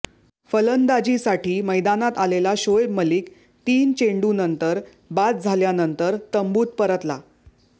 फलंदाजीसाठी मैदानात आलेला शोएब मलिक तीन चेंडूनंतर बाद झाल्यानंतर तंबूत परतला